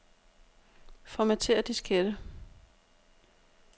Formatér diskette.